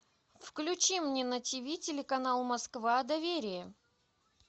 включи мне на тиви телеканал москва доверие